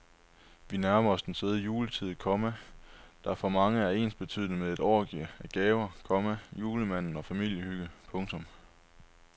Vi nærmer os den søde juletid, komma der for mange er ensbetydende med et orgie af gaver, komma julemand og familiehygge. punktum